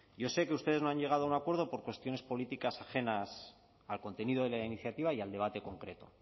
yo sé que ustedes no han llegado a un acuerdo por cuestiones políticas ajenas al contenido de la iniciativa y al debate concreto